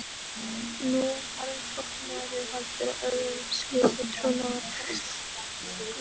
Nú varð flóttamaðurinn valdur að öðrum slíkum trúnaðarbresti.